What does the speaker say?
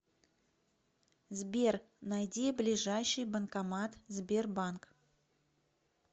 сбер найди ближайший банкомат сбербанк